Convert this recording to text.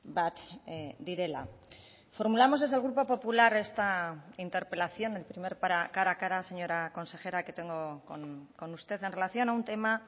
bat direla formulamos desde el grupo popular esta interpelación el primer cara a cara señora consejera que tengo con usted en relación a un tema